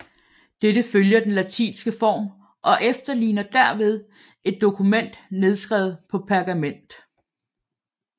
Dette følger den latinske form og efterligner derved et dokument nedskrevet på pergament